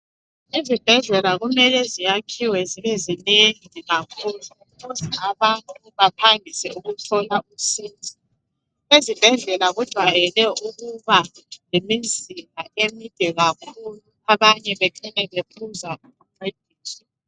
Izibhedlela kumele ziyakhiwe zibezinengi kakhulu ukuze abantu baphangise ukuthola usizo. Ezibhedlela kujwayele ukuba lemizila emide kakhulu abanye becine bephuza ukuncediswa.